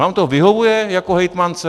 Vám to vyhovuje jako hejtmance?